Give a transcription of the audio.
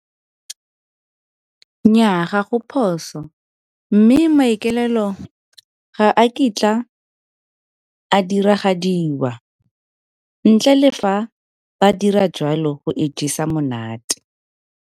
Nnyaa, ga go phoso mme maikaelelo ga a kitla a diragadiwa, ntle le fa ba dira joalo go ijesa monate.